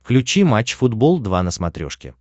включи матч футбол два на смотрешке